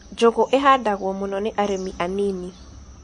Njũgũ ihandagwo mũno nĩ arĩmi anini.